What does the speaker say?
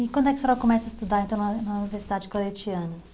E quando é que a senhora começa a estudar então na na Universidade Claretianas?